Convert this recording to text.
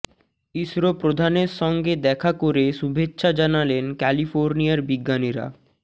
ইসরো প্রধানের সঙ্গে দেখা করে শুভেচ্ছা জানালেন ক্যালিফোর্নিয়ার বিজ্ঞানীরা